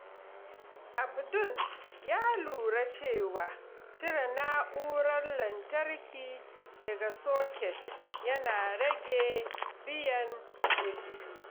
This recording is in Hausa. Abdul ya lura cewa cire na’urar lantarki daga soket yana rage biyan kuɗi.